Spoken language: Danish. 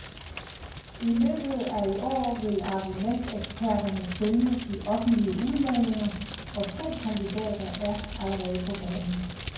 I løbet af i år vil argumenteksperterne følge de offentlige udladninger, og to kandidater er allerede på banen.